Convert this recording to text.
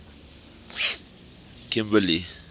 kimberley